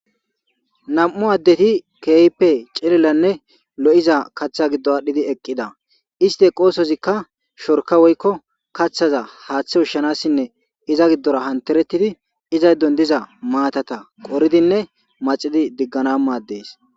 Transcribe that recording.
Nam'u adeti kehipe c'lilane lo'iza kata gidon adhidi eqida isti eqozazika shorka woyko kathaza hate ushanasine izan gidora hateretid izan gidon diza matata qoridine maxidi digana mades.